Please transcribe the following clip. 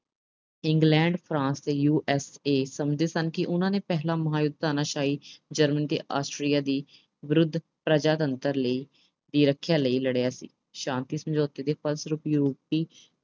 England, France ਤੇ USA ਸਮਝਦੇ ਸਨ ਕਿ ਉਨ੍ਹਾਂ ਨੇ ਪਹਿਲਾ ਮਹਾਂਯੁੱਧ ਤਾਨਾਸ਼ਾਹੀ German ਤੇ Austria ਦੇ ਵਿਰੁੱਧ ਪ੍ਰਜਾਤੰਤਰ ਲਈ, ਦੀ ਰੱਖਿਆ ਲਈ ਲੜਿਆ ਸੀ। ਸ਼ਾਂਤੀ ਸਮਝੌਤੇ ਦੇ ਫਲਸਰੂਪ ਯੂਰਪੀ